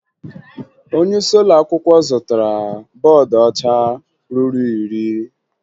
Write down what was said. Onyeisi ụlọakwụkwọ zụtara bọọdụ ọcha ruru iri